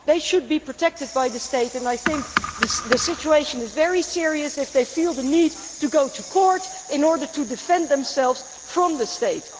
They should be protected by the state, and I think the situation is very serious if they feel the need to go to court in order to defend themselves from the states.